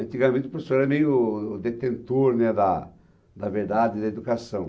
Antigamente o professor era meio o detentor, né, da da verdade da educação.